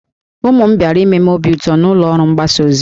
Ụmụ m bịara ime m obi ụtọ na ụlọ ọrụ mgbasa ozi